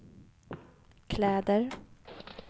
kläder